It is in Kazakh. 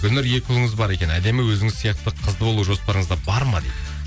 гүлнұр екі ұлыңыз бар екен әдемі өзіңіз сияқты қызды болу жоспарыңызда бар ма дейді